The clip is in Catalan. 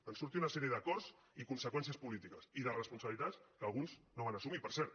en van sortir una sèrie d’acords i conseqüències polítiques i de responsabilitats que alguns no van assumir per cert